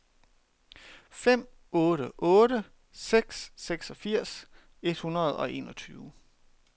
fem otte otte seks seksogfirs et hundrede og enogtyve